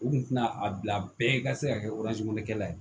U kun tɛna a bila bɛɛ ka se ka kɛ kɛlɛ ye